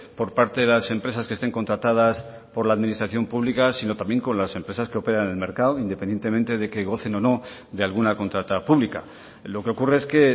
por parte de las empresas que estén contratadas por la administración pública sino también con las empresas que operan en el mercado independientemente de que gocen o no de alguna contrata pública lo que ocurre es que